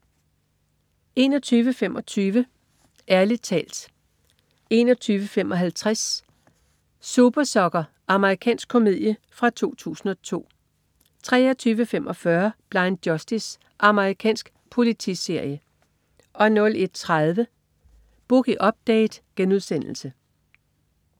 21.25 Ærlig talt 21.55 Super Sucker. Amerikansk komedie fra 2002 23.25 Blind Justice. Amerikansk politiserie 01.30 Boogie Update*